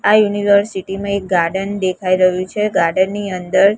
આ યુનિવર્સિટી માં એક ગાર્ડન દેખાય રહ્યું છે ગાર્ડન ની અંદર--